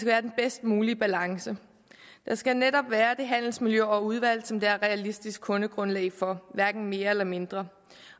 være den bedst mulige balance der skal netop være det handelsmiljø og det udvalg som der er realistisk kundegrundlag for hverken mere eller mindre